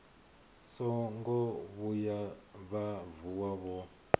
songo vhuya vha vuwa vho